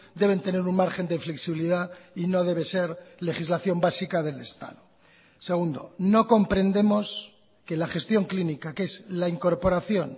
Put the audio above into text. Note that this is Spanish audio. deben tener un margen de flexibilidad y no debe ser legislación básica del estado segundo no comprendemos que la gestión clínica que es la incorporación